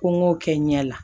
Ko n k'o kɛ n ɲɛ la